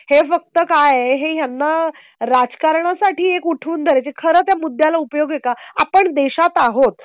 हे फक्त काय आहे. हे त्यांना राजकारणासाठी उठवून द्यायचे. खर तर या मुद्द्याला उपयोग आहे का? आपण देशात आहोत.